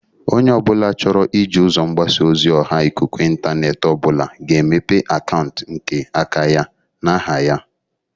Onye ọbụla chọrọ iji ụzọ mgbasa ozi ọha ikuku intaneeti obụla ga-emepe akauntụ nke aka ya n'aha ya.